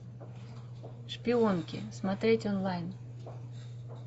шпионки смотреть онлайн